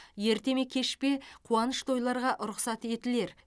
ерте ме кеш пе қуаныш тойларға рұқсат етілер